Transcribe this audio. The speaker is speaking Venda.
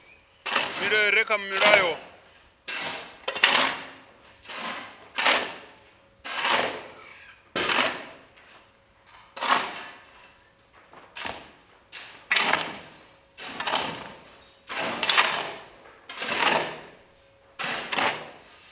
milayo i re kha mulayo